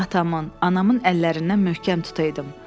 Atamın, anamın əllərindən möhkəm tutaydım.